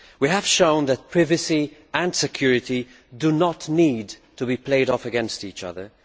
We have shown that privacy and security do not need to be played off against each other.